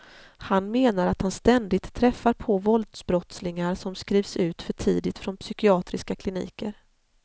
Han menar att han ständigt träffar på våldsbrottslingar som skrivs ut för tidigt från psykiatriska kliniker.